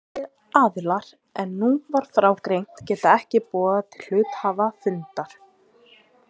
Aðrir aðilar en nú var frá greint geta ekki boðað til hluthafafundar.